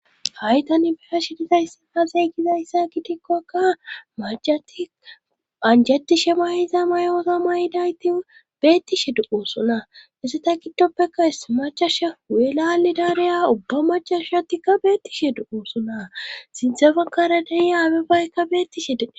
Haytan beha shidizayssa hazeygizayssa gitikkokka majatika anjatishe mayiza mayoosa mayidayti beettishe du7oosona esse ta giddoppeka is macasha welali dareya ubba macashatikka beettishe du7oosona sinthe bankara dehiya abebaykka beettishedede..